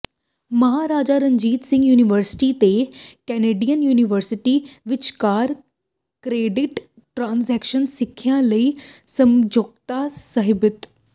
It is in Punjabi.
ਮਹਾਰਾਜਾ ਰਣਜੀਤ ਸਿੰਘ ਯੁਨੀਵਰਸਿਟੀ ਤੇ ਕੈਨੇਡੀਅਨ ਯੂੂਨੀਵਰਸਿਟੀ ਵਿਚਕਾਰ ਕ੍ਰੈਡਿਟ ਟ੍ਰਾਂਸਫਰ ਸਿੱਖਿਆ ਲਈ ਸਮਝੌਤਾ ਸਹੀਬੱਧ